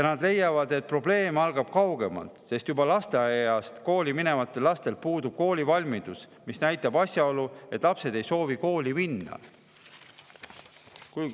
Nad leiavad, et probleem algab kaugemalt, sest juba lasteaiast kooli minevatel lastel puudub koolivalmidus, mida näitab asjaolu, et lapsed ei soovi kooli minna.